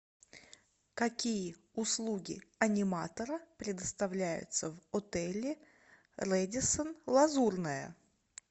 какие услуги аниматора предоставляются в отеле рэдиссон лазурная